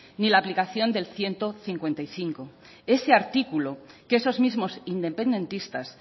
ni la aplicación del ciento cincuenta y cinco ese artículo que esos mismos independentistas